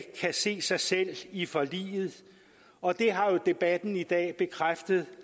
kan se sig selv i forliget og det har debatten i dag bekræftet